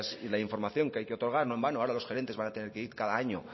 y la información que hay que otorgar no en vano ahora dos gerentes van a tener que ir cada año